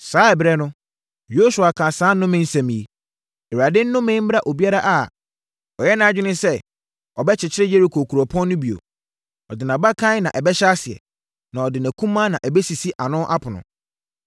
Saa ɛberɛ no, Yosua kaa saa nnome nsɛm yi: “ Awurade nnome mmra obiara a ɔyɛ nʼadwene sɛ ɔbɛkyekyere Yeriko kuropɔn no bio. “Ɔde nʼabakan na ɛbɛhyɛ aseɛ, na ɔde nʼakumaa na ɛbɛsisi ano apono.”